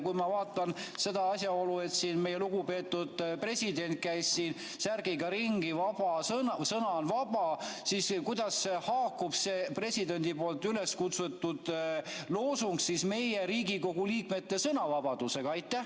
Kui ma vaatan seda asjaolu, et meie lugupeetud president käis ringi särgiga "Sõna on vaba", siis kuidas haakub see presidendi loosung Riigikogu liikmete sõnavabadusega?